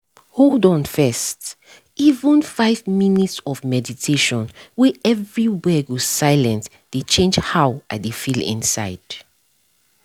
hold on first— even five minute of meditation wey everywhere go silient dey change how i dey feel inside